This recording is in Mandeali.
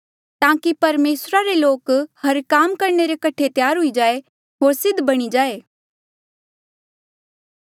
ताकि परमेसरा रे लोक हर भले काम करणे रे कठे त्यार हुई जाये होर सिद्ध बणी जाये